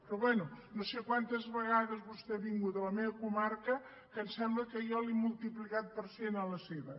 però bé no sé quantes vegades vostè ha vingut a la meva comarca que em sembla que jo ho he multiplicat per cent a la seva